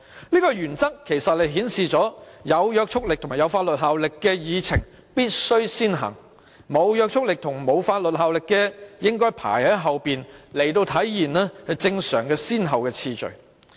這個原則其實顯示有約束力及法律效力的議項必須先行處理，沒約束力及法律效力的應該排在後，以體現正常的先後次序。